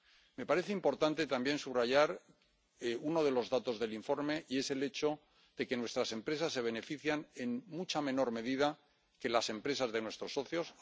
Me parece importante también subrayar uno de los datos del informe y es el hecho de que nuestras empresas se benefician en mucha menor medida que las empresas de nuestros socios.